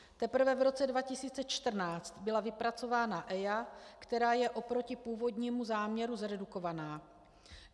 Teprve v roce 2014 byla vypracována EIA, která je oproti původnímu záměru zredukovaná.